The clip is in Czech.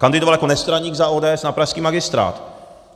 Kandidoval jako nestraník za ODS na pražský magistrát.